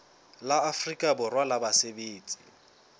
la afrika borwa la basebetsi